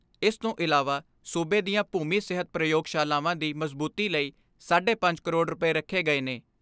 ਇਸ ਤੋਂ ਇਲਾਵਾ ਸੂਬੇ ਦੀਆਂ ਭੂਮੀ ਸਿਹਤ ਪ੍ਰਯੋਗਸ਼ਾਲਾਵਾਂ ਦੀ ਮਜ਼ਬੂਤੀ ਲਈ ਸਾਢੇ ਪੰਜ ਕਰੋੜ ਰੁਪਏ ਰੱਖੇ ਗਏ ਨੇ।